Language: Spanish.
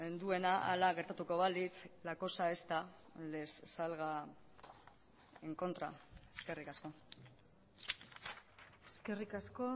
duena hala gertatuko balitz la cosa esta les salga en contra eskerrik asko eskerrik asko